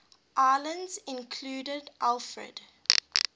islands included alfred